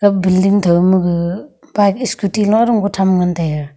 ega building thow ma gaga bike scooty tham ngan taiga.